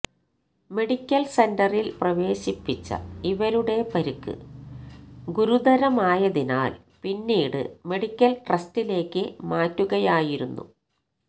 medical സെന്ററില് പ്രവേശിപ്പിച്ച ഇവരുടെ പരിക്ക് ഗുരുതരമായതിനാല് പിന്നീട് മെഡിക്കല് ട്രസ്റ്റിലേക്ക് മാറ്റുകയായിരുന്നു